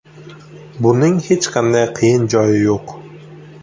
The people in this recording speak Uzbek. Buning hech qanday qiyin joyi yo‘q.